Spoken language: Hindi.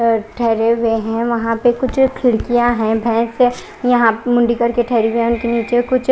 अ ठहरे हुए है वहां पर कुछ खिडकिया है भेस है यहाँ पर मुंडी करके ठहरे हुई है उनके निचे कुछ--